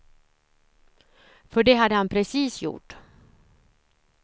För det hade han precis gjort.